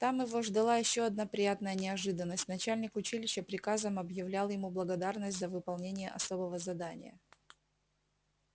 там его ждала ещё одна приятная неожиданность начальник училища приказом объявлял ему благодарность за выполнение особого задания